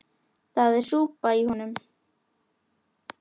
Það er súpa í honum.